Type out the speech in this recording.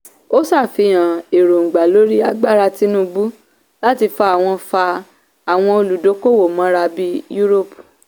ó sàfihàn èróńgbà lórí agbára tinubu láti fa àwọn fa àwọn olùdókòwò mọ́ra bí europe.